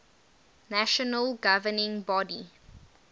national governing body